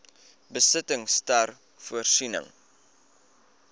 besittings ter voorsiening